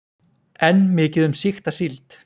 Enn mikið um sýkta síld